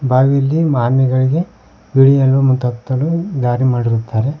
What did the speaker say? ಬಾವಿಲಿ ಆಮಿಗಳಿಗೆ ಇಳಿಯಲು ಮತ್ತು ಹತ್ತಲು ದಾರಿ ಮಾಡಿರುತ್ತಾರೆ.